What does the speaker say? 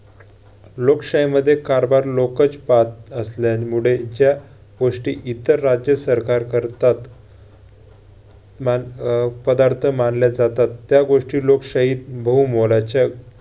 लोकशाहीमध्ये कारभार लोकच पाहत असल्यामुळे ज्या गोष्टी इतर राज्यसरकार करतात मान~ अह पदार्थ मानल्या जातात त्या गोष्टी लोकशाहीत बहुमोलाच्या